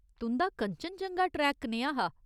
तुं'दा कंचनजंगा ट्रेक कनेहा हा ?